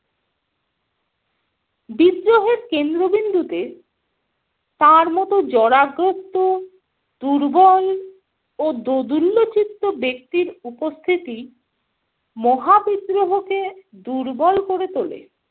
বিদ্রোহের কেন্দ্রবিন্দুতে তার মত জরাগ্রস্ত, দুর্বল ও দোদুল্যচিত্ত ব্যক্তির উপস্থিতি মহাবিদ্রোহকে দুর্বল করে তোলে।